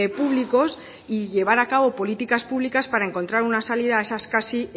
públicos y llevar a cabo políticas públicas para encontrar una salida a esas casi